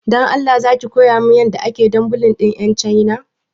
Dan Allah zaki kowa min yan yadda ake dumbilin din yan chaina